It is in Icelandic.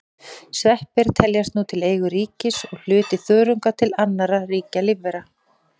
Sveppir teljast nú til eigin ríkis og hluti þörunga til annarra ríkja lífvera.